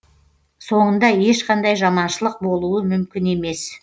соңында ешқандай жаманшылық болуы мүмкін емес